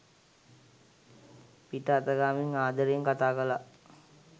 පිට අතගාමින් ආදරයෙන් කතා කළා